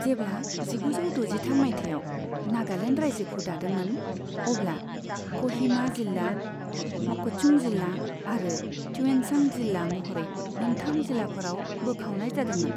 जेब्ला जिगुजौ द'जिथाम मायथाइयाव नागालेन्ड रायजोखौ दादोंमोन, अब्ला क'हिमा जिल्ला, मककचुं जिल्ला आरो त्युएनसां जिल्ला महरै मोन्थाम जिल्लाफोराव बोखावनाय जादोंमोन।